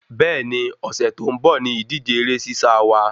Bẹ́ẹ̀ni, Ọ̀sẹ̀ tó ń bò ni ìdíje eré sísá wa